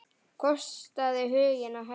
Kostaðu huginn að herða.